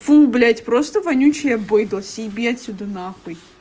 фу блять просто вонючее быдло съеби отсюда нахуй